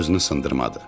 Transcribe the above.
Özünü sındırmadı.